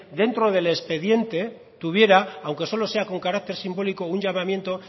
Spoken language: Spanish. dentro del expediente tuviera aunque solo sea con carácter simbólico un llamamiento